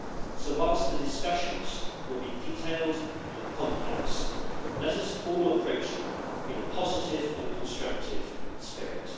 So whilst the discussions will be detailed and complex, let us all approach them in a positive and constructive spirit.